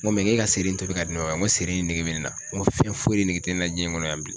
Ŋo k'e ka seri in tobi k'a di ne ma ba ŋo seri in nege be ne na, ŋo fɛn foyi de nege tɛ ne na diɲɛ in ŋɔnɔ yan bilen.